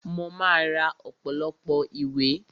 Mo máa ra ọ̀pọ̀lọpọ̀ ìwé